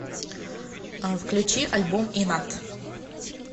включи альбом инат